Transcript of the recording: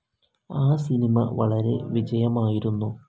ആ സിനിമ വളരെ വിജയമായിരുന്നു.